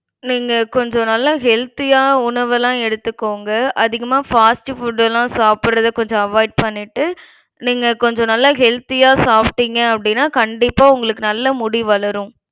நீங்க கொஞ்சம் நல்லா healthy ஆ உணவெல்லாம் எடுத்துக்கோங்க. அதிகமா fast food எல்லாம் சாப்பிடறத கொஞ்சம் avoid பண்ணிட்டு நீங்க கொஞ்சம் நல்லா healthy ஆ சாப்பிட்டிங்க அப்டினா கண்டிப்பா உங்களுக்கு நல்லா முடி வளரும்.